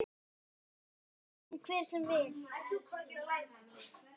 Lái honum hver sem vill.